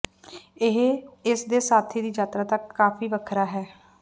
ਇਹ ਇਸ ਦੇ ਸਾਥੀ ਦੀ ਯਾਤਰਾ ਤੱਕ ਕਾਫ਼ੀ ਵੱਖਰਾ ਹੈ